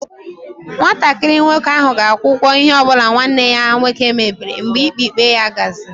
Nwatakịrị nwoke ahụ ga-akwụ ụgwọ ihe ọ bụla nwanne ya nwoke mebiri mgbe ikpe ikpe ya gasịrị.